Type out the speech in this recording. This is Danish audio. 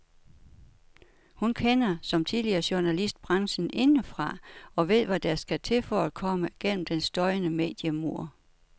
Hun kender, som tidligere journalist, branchen indefra og ved hvad der skal til for at komme gennem den støjende mediemur.